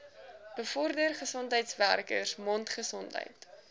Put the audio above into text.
bevorder gesondheidswerkers mondgesondheid